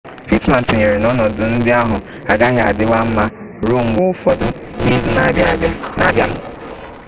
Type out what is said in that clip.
pittman tụnyere n'ọnọdụ ndị ahụ agaghị adịwa mma ruo mgbe ụfọdụ n'izu na-abịanụ